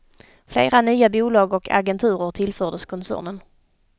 Flera nya bolag och agenturer tillfördes koncernen.